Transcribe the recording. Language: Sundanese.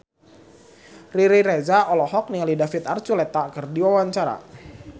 Riri Reza olohok ningali David Archuletta keur diwawancara